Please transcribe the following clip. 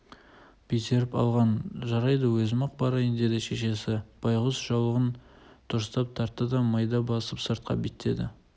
безеріп алған жарайды өзім-ақ барайын деді шешесі байғұс жаулығын дұрыстап тартты да майда басып сыртқа беттеді